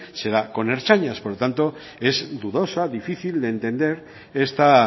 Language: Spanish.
será con ertzainas por tanto es dudosa o difícil de entender esta